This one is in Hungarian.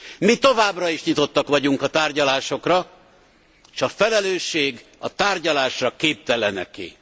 Mi továbbra is nyitottak vagyunk a tárgyalásokra, s a felelősség a tárgyalásra képteleneké.